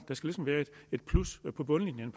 ligesom være et plus på bundlinjen